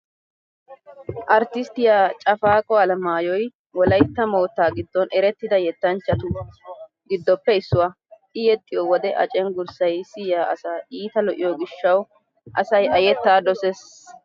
Arttisttiya Cafaqo Alamaayoy Wolaytta moottaa giddon erettida yettanchchatu giddoppe issuwaa. I yexxiyo wode a cenggurssay siya asaa iita lo'iyo gishshawu asay a yettaa dosees.